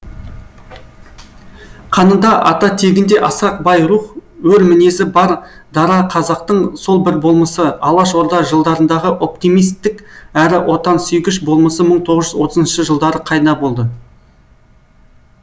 қанында ата тегінде асқақ бай рух ер мінезді бар дара қазақтың сол бір болмысы алаш орда жылдарындағы оптимистік әрі отансүйгіш болмысы бір мың тоғыз жүз отызыншы жылдары қайда болды